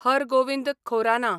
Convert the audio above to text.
Har Gobind Khorana